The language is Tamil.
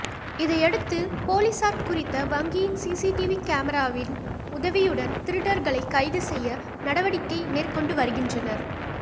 இதையடுத்து பொலிசார் குறித்த வங்கியின் சீசீடிவி கமறாவின் உதவியுடன் திருடர்களை கைது செய்ய நடவடிக்கை மேற்கொண்டு வருகின்றனர்